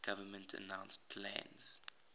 government announced plans